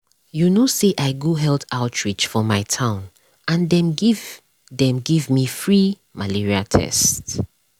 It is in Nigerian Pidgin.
you no say i go health outreach for my town and dem give dem give me free malaria tests.